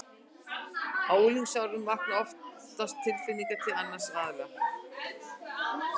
Á unglingsárunum vakna oftast tilfinningar til annars aðila.